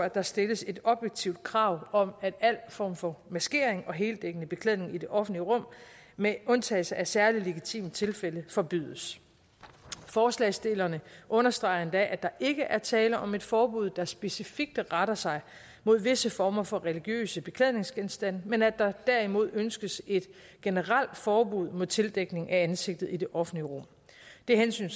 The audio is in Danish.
at der stilles et objektivt krav om at al form for maskering og heldækkende beklædning i det offentlige rum med undtagelse af særligt legitime tilfælde forbydes forslagsstillerne understreger endda at der ikke er tale om et forbud der specifikt retter sig mod visse former for religiøse beklædningsgenstande men at der derimod ønskes at generelt forbud mod tildækning af ansigtet i det offentlige rum det hensyn